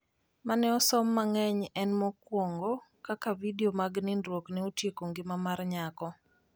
mane osom mangeny en mokuongo ,Kaka vidio mag nindruok ne otieko ngima mar nyako